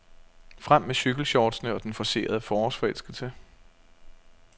Frem med cykelshortsene og den forcerede forårsforelskelse.